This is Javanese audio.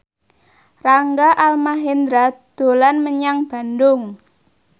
Rangga Almahendra dolan menyang Bandung